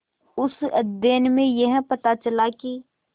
उस अध्ययन में यह पता चला कि